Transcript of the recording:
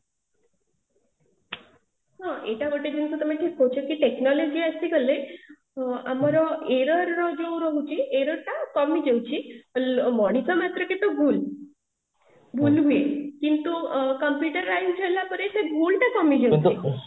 ହଁ ଏଇଟା ଗୋଟେ ଜିନିଷ ତମେ କହୁଛ କି technology ଆସିଗଲେ ହଁ ଆମର error ଟା ଯୋଉ ରହୁଛି error ଟା କମି ଯାଉଛି ତ ମଣିଷ ମାତ୍ରକେ ତ ଭୁଲ ଭୁଲ ହୁଏ କିନ୍ତୁ computerised ହେଲା ପରେ ସେ ଭୁଲଟା କମିଯିବ